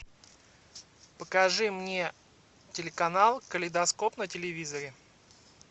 покажи мне телеканал калейдоскоп на телевизоре